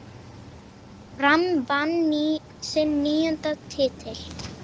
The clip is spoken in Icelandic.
Fram vann sinn níunda titil.